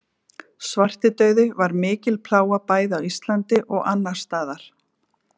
Svartidauði var mikil plága bæði á Íslandi og annars staðar.